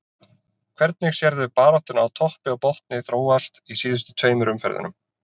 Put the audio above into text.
Hvernig sérðu baráttuna á toppi og botni þróast í síðustu tveimur umferðunum?